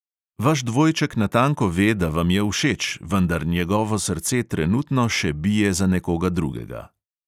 Vaš dvojček natanko ve, da vam je všeč, vendar njegovo srce trenutno še bije za nekoga drugega.